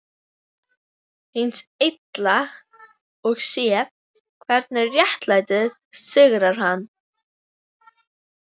Hins Illa og séð hvernig réttlætið sigrar hann.